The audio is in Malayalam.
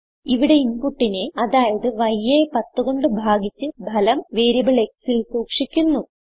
ഇവിടെ ഇൻപുട്ടിനെ അതായത് y യെ 10 കൊണ്ട് ഭാഗിച്ച് ഫലം വേരിയബിൾ xൽ സൂക്ഷിക്കുന്നു